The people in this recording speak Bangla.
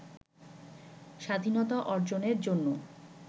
স্বাধীনতা অর্জনের জন্য